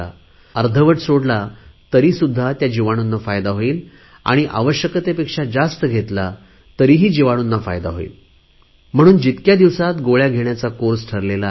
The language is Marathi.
अर्धवट सोडला तरी सुद्धा त्या जीवाणूंना फायदा होईल आवश्यकतेपेक्षा जास्त घेतला तरीसुद्धा जीवाणूंना फायदा होईल म्हणून जितक्या दिवसात गोळ्या घेण्याचा कोर्स ठरला आहे